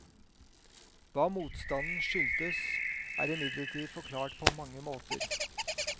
Hva motstanden skyldtes, er imidlertid forklart på mange måter.